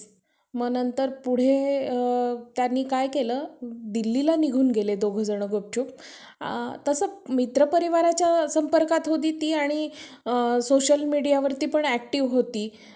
त्याला चांगले marks असतील बघ. अं अक~ दहावी आणि बारावीमध्ये. तर त्याला भेटून जाईल.